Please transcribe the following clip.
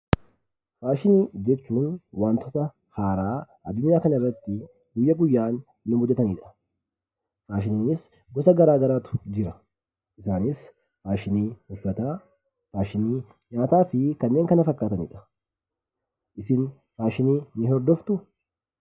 Faashinii jechuun waantota haaraa addunyaa kanarratti guyyaa guyyaan nu mudatanidha. Faashiniinis gosa garaa garaatu jira. Isaanis faashinii uffataa, faashinii nyaataa fi kanneen kana fakkaatanidha. Isin faashinii ni hordoftuu?